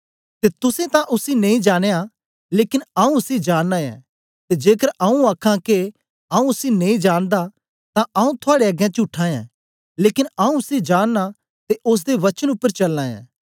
ते तुसें तां उसी नेई जानया लेकन आऊँ उसी जाननां ऐं ते जेकर आऊँ आखां के आऊँ उसी नेई जानदा तां आऊँ थुआड़े अगें चुट्ठा ऐं लेकन आऊँ उसी जाननां ते ओसदे वचन उपर चलना ऐं